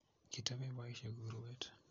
kitepe boishek urwet